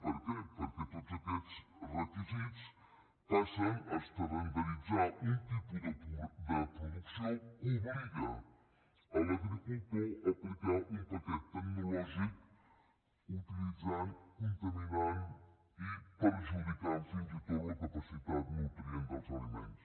per què perquè tots aquests requisits passen a estandarditzar un tipus de producció que obliga l’agricultor a aplicar un paquet tecnològic utilitzant contaminant i perjudicant fins i tot la capacitat nutrient dels aliments